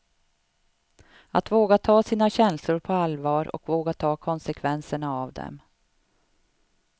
Att våga ta sina känslor på allvar och våga ta konsekvenserna av dem.